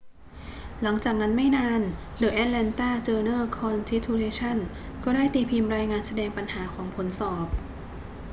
หลังจากนั้นไม่นาน the atlanta journal-constitution ก็ได้ตีพิมพ์รายงานแสดงปัญหาของผลสอบ